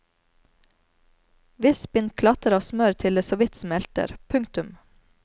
Visp inn klatter av smør til det såvidt smelter. punktum